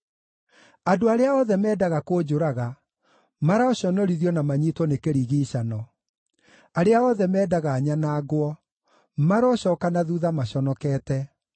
Andũ arĩa othe mendaga kũnjũraga maroconorithio na manyiitwo nĩ kĩrigiicano; arĩa othe mendaga nyanangwo marocooka na thuutha maconokete.